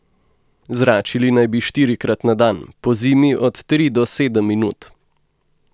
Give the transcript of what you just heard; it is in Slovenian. Zračili naj bi štirikrat na dan, pozimi od tri do sedem minut.